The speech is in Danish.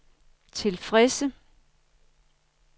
tilfredse